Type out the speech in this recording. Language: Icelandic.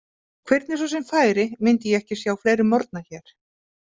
Hvernig svo sem færi myndi ég ekki sjá fleiri morgna hér.